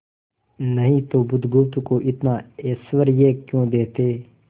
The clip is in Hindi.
नहीं तो बुधगुप्त को इतना ऐश्वर्य क्यों देते